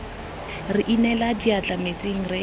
re inela diatla metsing re